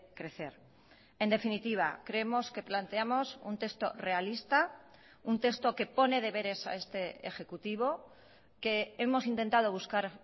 crecer en definitiva creemos que planteamos un texto realista un texto que pone deberes a este ejecutivo que hemos intentado buscar